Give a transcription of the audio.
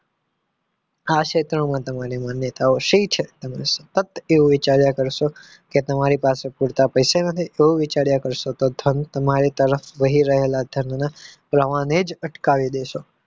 આ ક્ષેત્રમાં તમારી માન્યતાઓ શી છે અને તેવું સતત વિચાર્યા કરશો કે તમારી પાસે પૂરતા પૈસા નથી એવું વિચાર્યા કરશો તો ધન તમારી તરફ વહી રહેલા ધનના પ્રવાહ ને જ અટકાવી દેશો